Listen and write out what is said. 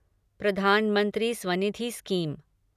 प्रधानमंत्री स्वनिधी शीम